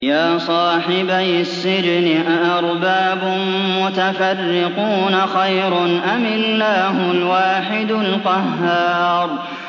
يَا صَاحِبَيِ السِّجْنِ أَأَرْبَابٌ مُّتَفَرِّقُونَ خَيْرٌ أَمِ اللَّهُ الْوَاحِدُ الْقَهَّارُ